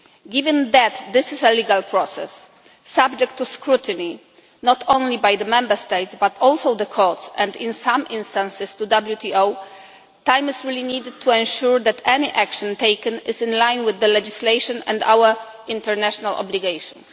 table. Given that this is a legal process subject to scrutiny not only by the Member States but also by the courts and in some instances the WTO time is needed to ensure that any action taken is in line with the legislation and our international obligations.